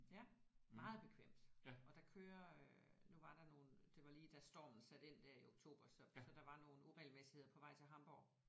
Ja meget bekvemt og der kører øh nu var der nogle det var lige da stormen satte ind der i oktober så så der var nogle uregelmæssigheder på vej til Hamborg